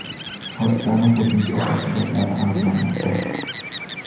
Hodisaning qo‘shimcha tafsilotlari aniqlanmoqda.